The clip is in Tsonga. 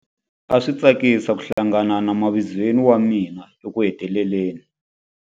A swi tsakisa ku hlangana na mavizweni wa mina ekuheteleleni.